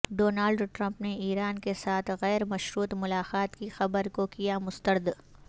Donald Trump نے ایران کے ساتھ غیر مشروط ملاقات کی خبر کو کیا مسترد